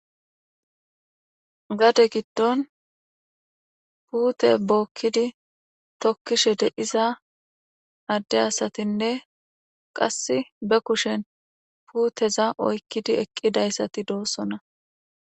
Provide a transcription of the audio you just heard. gade giddon puute bookkidi tokkishe de'iza adde asatinne qasse be kushen puuteza oykkidi eqqidayssati doossona